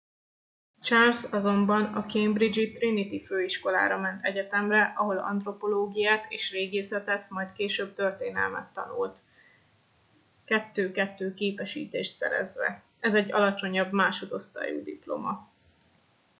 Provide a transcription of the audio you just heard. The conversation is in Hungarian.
charles azonban a cambridge-i trinity főiskolára ment egyetemre ahol antropológiát és régészetet majd később történelmet tanult 2:2 képesítést szerezve ez egy alacsonyabb másodosztályú diploma